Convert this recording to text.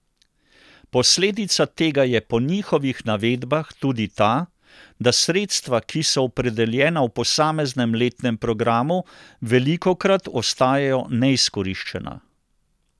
Posledica tega je po njihovih navedbah tudi ta, da sredstva, ki so opredeljena v posameznem letnem programu, velikokrat ostajajo neizkoriščena.